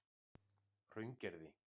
Hraungerði